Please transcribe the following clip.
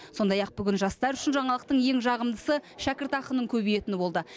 сондай ақ бүгін жастар үшін жаңалықтың ең жағымдысы шәкіртақының көбейетіні болды